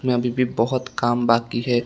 में अभी भी बहुत काम बाकी है।